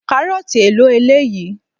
Karoti èlò eléyìí?